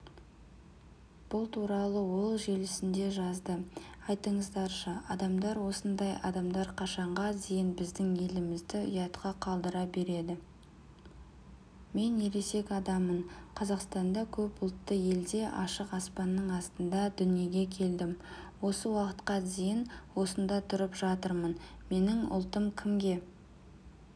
бұл туралы ол желісінде жазды айтыңыздаршы адамдар осындай адамдар қашанға дейін біздің елімізді ұятқа қалдыра береді